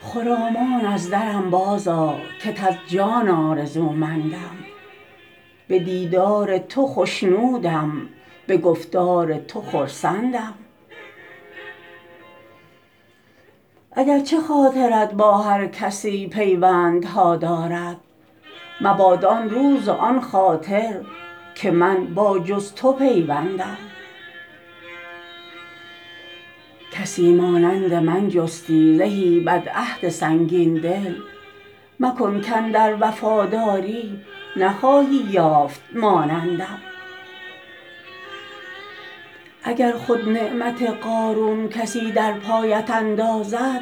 خرامان از درم بازآ کت از جان آرزومندم به دیدار تو خوشنودم به گفتار تو خرسندم اگر چه خاطرت با هر کسی پیوندها دارد مباد آن روز و آن خاطر که من با جز تو پیوندم کسی مانند من جستی زهی بدعهد سنگین دل مکن کاندر وفاداری نخواهی یافت مانندم اگر خود نعمت قارون کسی در پایت اندازد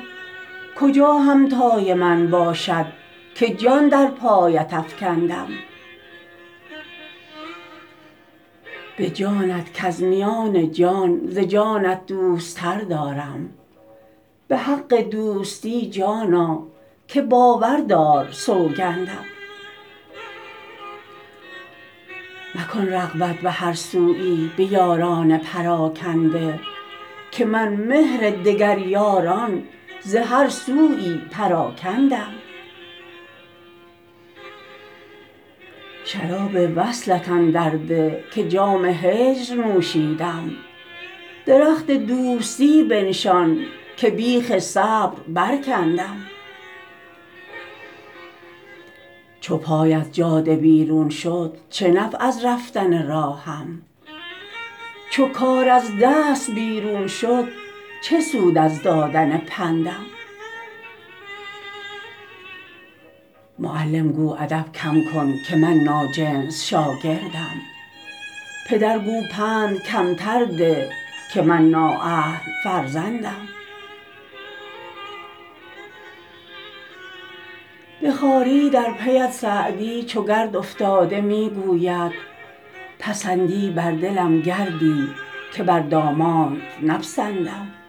کجا همتای من باشد که جان در پایت افکندم به جانت کز میان جان ز جانت دوست تر دارم به حق دوستی جانا که باور دار سوگندم مکن رغبت به هر سویی به یاران پراکنده که من مهر دگر یاران ز هر سویی پراکندم شراب وصلت اندر ده که جام هجر نوشیدم درخت دوستی بنشان که بیخ صبر برکندم چو پای از جاده بیرون شد چه نفع از رفتن راهم چو کار از دست بیرون شد چه سود از دادن پندم معلم گو ادب کم کن که من ناجنس شاگردم پدر گو پند کمتر ده که من نااهل فرزندم به خواری در پی ات سعدی چو گرد افتاده می گوید پسندی بر دلم گردی که بر دامانت نپسندم